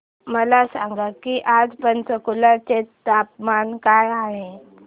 मला सांगा की आज पंचकुला चे तापमान काय आहे